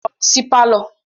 Lọ si pálọ̀